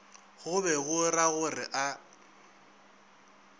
go be go ragore a